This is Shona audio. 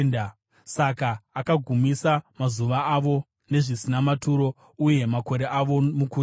Saka akagumisa mazuva avo nezvisina maturo, uye makore avo mukutya.